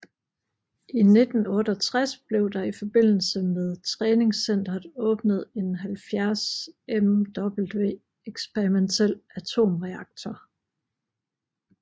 I 1968 blev der i forbindelse med træningscenteret åbnet en 70Mw eksperimentel atomreaktor